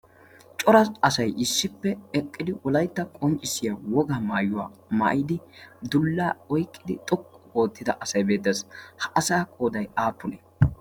cora asay ishshippe eqqidi wolaytta qonccissiya woga maayuwaa maayidi dullaa oyqqidi xoqqu oottida asay beeddaassi ha asaa qooday aappunee